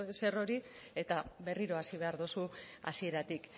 zer hori eta berriro hasi behar duzu hasieratik